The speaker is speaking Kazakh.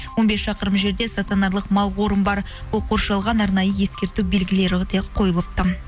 он бес шақырым жерде мал қорым бар ол қоршалған арнайы ескерту белгілері қойылыпты